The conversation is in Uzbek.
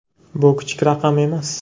Bu kichik raqam emas.